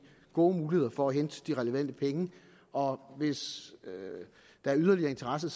gode muligheder for at hente de relevante penge og hvis der er yderligere interesse